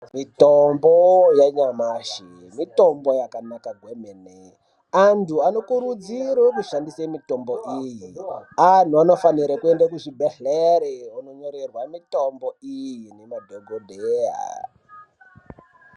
Mitombo yanyamashi mitombo yakanaka kwemene. Antu anokurudzire kushandisa mitombo iyi. Antu anofanirwa kuende kuzvibhedhlere ononyorerwa mitombo iyi nemadhogodheya.